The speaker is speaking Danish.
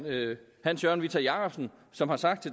hans jørgen whitta jacobsen som har sagt